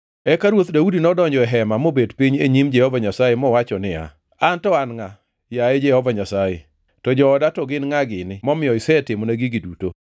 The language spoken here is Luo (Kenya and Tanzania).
Eka Ruoth Daudi nodonjo e hema mobet piny e nyim Jehova Nyasaye mowacho niya, “An to an ngʼa, yaye Jehova Nyasaye, to jooda to gin ngʼa gini momiyo isetimona gigi duto?